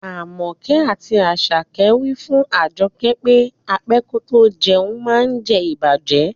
Amoke ati Asake wi fun Ajoke pe á pẹ kò tó jẹ̀un maá ǹ jẹ̀ ìbàjẹ́.